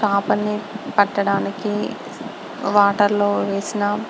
చేపని పట్టడానికి వాటర్ లో వేసిన--